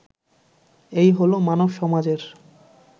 এই হলো মানব সমাজের